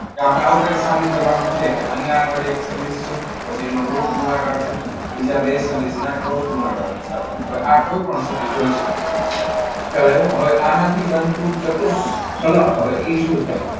તો આપણે આવું કંઈક સાબિત કરવાનું છે. કે અહીંયા આગળ એક સદિશ છે. પછી આનો રૂટ ગુણાકાર છે બીજા સદિશના ક્રોસ ગુણાકારની સાથે. હવે આ કોઈપણ સદિશ હોઈ શકે. ખ્યાલ આવ્યો? હવે આનાથી બનવું તું ચતુષ્ફલક હવે એ શું થાય?